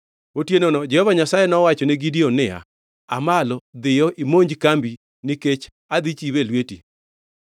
Otienono Jehova Nyasaye nowachone Gideon niya, “Aa malo, dhiyo imonj kambi, nikech adhi chiwe e lweti.